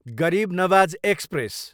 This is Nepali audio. गरिब नवाज एक्सप्रेस